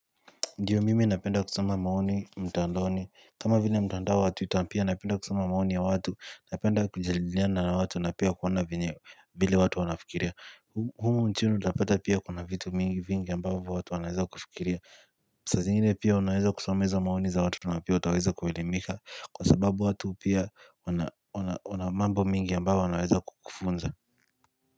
Ndiyo mimi napenda kusoma maoni mtandoni. Kama vile mtandao wa Twitter pia napenda kusoma maoni ya watu. Napenda kujaliliana na watu napia kuwana vile watu wanafikiria. Humu mchunu tapeta pia kuna vitu mingi vingi ambavu watu wanaweza kufikiria. Saa zingine pia unaweza kusoma hizo maoni za watu wanaweza kuelimika. Kwa sababu watu pia una mambo mingi ambavu unaweza kufunza.